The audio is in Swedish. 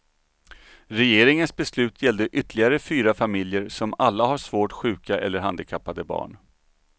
Regeringens beslut gällde ytterligare fyra familjer som alla har svårt sjuka eller handikappade barn.